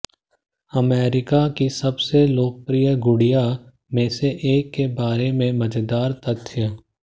America की सबसे लोकप्रिय गुड़िया में से एक के बारे में मजेदार तथ्य